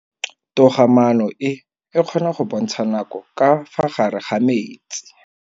Toga maanô e, e kgona go bontsha nakô ka fa gare ga metsi.